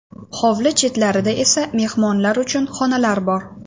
Hovli chetlarida esa mehmonlar uchun xonalar bor.